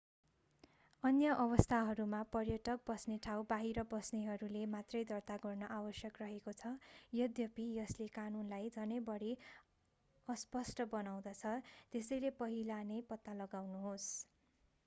अन्य अवस्थाहरूमा पर्यटक बस्ने ठाउँ बाहिर बस्नेहरूले मात्रै दर्ता गर्न आवश्यक रहेको छ यद्यपि यसले कानूनलाई झनै बढि अस्पष्ट बनाउँदछ त्यसैले पहिला नै पत्ता लगाउनुहोस्